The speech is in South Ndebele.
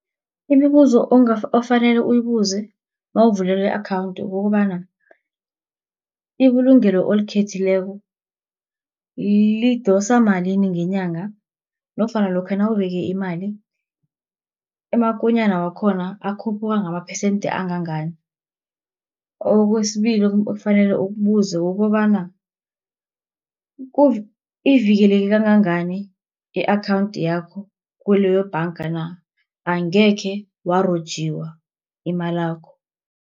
Imibuzo ofanele uyibuze nawuvelelwi i-akhawunthi kukobana ibulungelo olikhethileko lidosa malini ngenyanga, nofana lokha nawubeke imali amakonyana wakhona akhuphuka ngamaphesende angangani. Kwesibili ekufanele ukubuze kukobana ivikeleke kangangani i-akhawunthi yakho, kuleyo bhanga na, angekhe warojiwa imalakho.